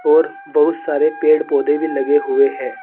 और बहुत सारे पेड़ पौधे भी लगे हुए है।